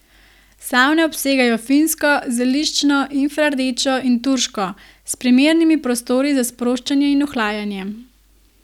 Savne obsegajo finsko, zeliščno, infrardečo in turško, z primernimi prostori za sproščanje in ohlajanje.